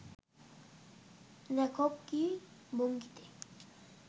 লেখক কী ভঙ্গিতে